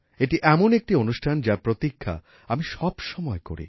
এটি এমন একটি অনুষ্ঠান যার প্রতীক্ষা আমি সবসময় করি